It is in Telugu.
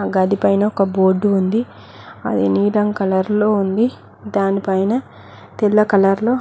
ఆ గది పైన ఒక బోర్డు ఉంది అది నీలం కలర్లో ఉంది దానిపైన తెల్ల కలర్లో